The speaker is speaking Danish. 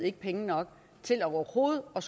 ikke penge nok til overhovedet at